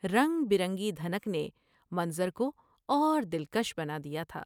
رنگ برنگی دھنک نے منظر کو اور دل کش بنا دیا تھا ۔